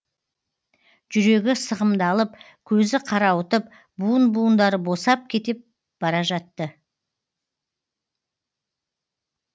жүрегі сығымдалып көзі қарауытып буын буындары босап кетіп бара жатты